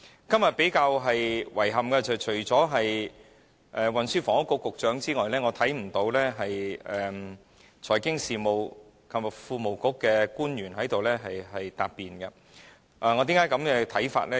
今天較令人感到遺憾的是，除了運輸及房屋局局長之外，財經事務及庫務局並沒有派出官員前來答辯，為何我有此看法呢？